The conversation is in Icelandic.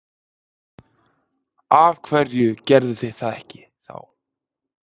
Af hverju gerðuð þið það ekki þá?